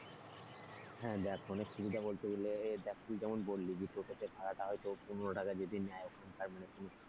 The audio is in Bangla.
হ্যাঁ দেখ অনেক সুবিধা বলতে গেলে এই দেখ তুই যেমন বললি যে তোর কাছে ভাড়া টা হয়তো পনেরো টাকা যদি নেয় তার মানে তুই,